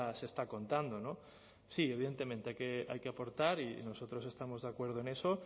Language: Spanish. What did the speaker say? se está contando sí evidentemente hay que aportar y nosotros estamos de acuerdo en eso